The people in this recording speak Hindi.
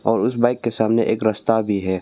और उस बाइक के सामने एक रस्ता भी है।